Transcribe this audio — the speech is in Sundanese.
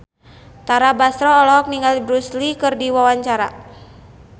Tara Basro olohok ningali Bruce Lee keur diwawancara